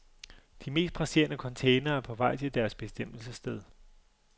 De mest presserende containere er på vej til deres bestemmelsessted.